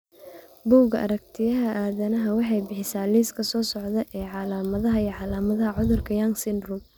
bugga aragtiyaha aanadanaha waxay bixisaa liiska soo socda ee calaamadaha iyo calaamadaha cudurka Young syndrome.